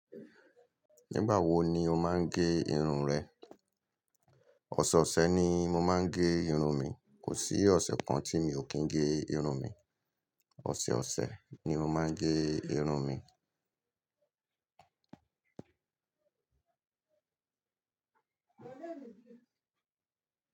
Nígbà wo ni o máa ń gẹ irun rẹ? Òṣè ọ̀sẹ̀ ni mo máa ń gẹ irun mi. Kò sí ọ̀ṣẹ̀ kan tí mi ò kí ń gẹ irun mi. Òṣè ọ̀ṣẹ̀ ni mo máa ń gẹ irun mi.